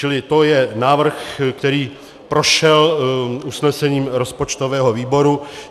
Čili to je návrh, který prošel usnesením rozpočtového výboru.